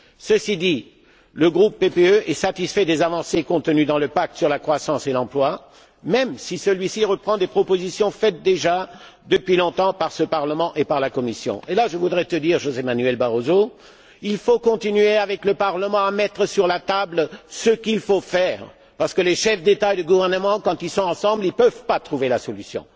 Ceci dit, le groupe PPE est satisfait des avancées contenues dans le pacte sur la croissance et l'emploi, même si celui ci reprend des propositions faites déjà depuis longtemps par ce Parlement et par la Commission. Et là, je voudrais vous dire, Monsieur Barroso, qu'il faut continuer, avec le Parlement, à mettre sur la table ce qu'il faut faire, parce que les chefs d'État et de gouvernement, quand ils sont ensemble, ne peuvent pas trouver la solution.